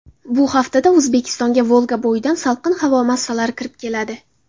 Bu haftada O‘zbekistonga Volgabo‘yidan salqin havo massalari kirib keladi.